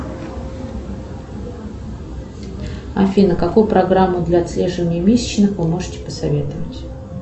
афина какую программу для отслеживания месячных вы можете посоветовать